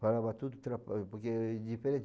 Falava tudo, porque é diferente.